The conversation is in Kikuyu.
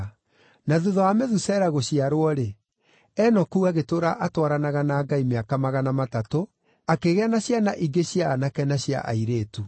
Na thuutha wa Methusela gũciarwo-rĩ, Enoku agĩtũũra atwaranaga na Ngai mĩaka magana matatũ, akĩgĩa na ciana ingĩ cia aanake na cia airĩtu.